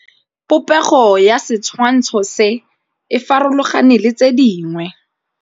Popêgo ya setshwantshô se, e farologane le tse dingwe.